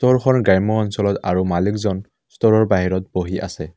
গ্ৰাম্য অঞ্চলত আৰু মালিকজন ষ্টোৰৰ বাহিৰত বহি আছে।